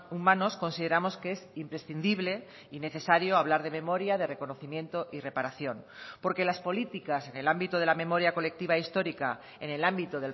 humanos consideramos que es imprescindible y necesario hablar de memoria de reconocimiento y reparación porque las políticas en el ámbito de la memoria colectiva histórica en el ámbito